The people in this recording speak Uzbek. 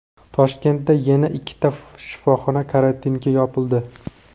Toshkentda yana ikkita shifoxona karantinga yopildi.